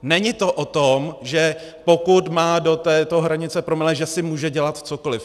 Není to o tom, že pokud má do této hranice promile, že si může dělat cokoliv.